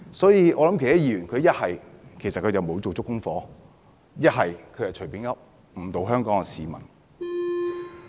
所以，那些議員要不沒有做足功課，要不便是隨口說，誤導香港市民。